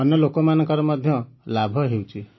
ଅନ୍ୟ ଲୋକମାନଙ୍କର ମଧ୍ୟ ଲାଭ ହେଉଛି